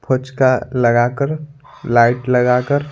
फोचका लगाकर लाइट लगाकर --